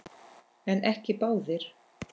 En ekki báðir.